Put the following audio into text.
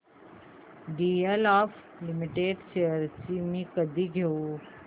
DLF limited shares मी कधी घेऊ